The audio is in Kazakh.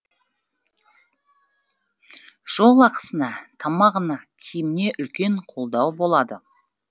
жол ақысына тамағына киіміне үлкен қолдау болады